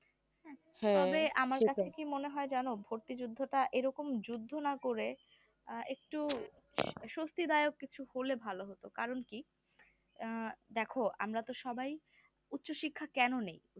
তবে আমার কাছে কি মনে হয় জানো ভর্তিযুদ্ধটা এরকম যুদ্ধ না করে আহ একটু স্বস্তিদায়ক কিছু হলে ভালো হতো কারণ কি আহ দেখো আমরা তো সবাই উচ্চশিক্ষা কেন নেই